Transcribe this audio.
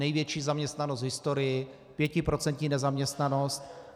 Největší zaměstnanost v historii, pětiprocentní nezaměstnanost.